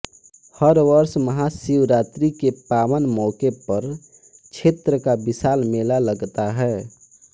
हर वर्ष महाशिवरात्रि के पावन मौके पर क्षेत्र का विशाल मेला लगता है